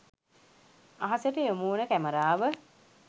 අහස ට යොමු වන කැමරාව